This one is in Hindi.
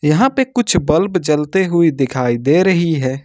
यहां पे कुछ बल्ब जलते हुए दिखाई दे रही है।